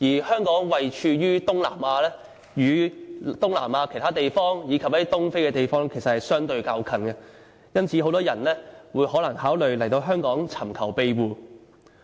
香港位處東南亞，與東南亞其他地方，以及一些東非等地相對較近，因此很多來自這些地方的人考慮來香港尋求庇護。